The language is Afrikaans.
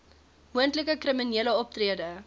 moontlike kriminele optrede